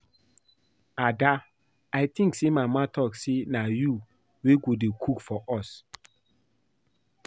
Ada I think say mama talk say na you wey go dey cook for us